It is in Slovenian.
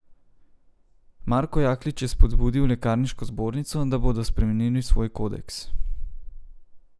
Marko Jaklič je spodbudil lekarniško zbornico, da bodo spremenili svoj kodeks.